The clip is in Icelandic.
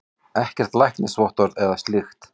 Ekkert læknisvottorð eða slíkt.